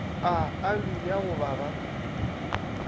a aloe ya go baba